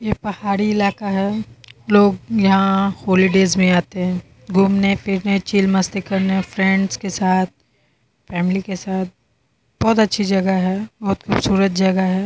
ये पहाड़ी इलाका है। लोग यहां होलीडेज में आते हैं घूमने-फिरने चिल मस्ती करने फ्रेंड्स के साथ फैमिली के साथ बोहोत अच्छी जगह है। बोहोत खूबसूरत जगह है।